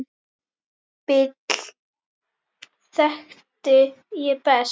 Bill þekkti ég best.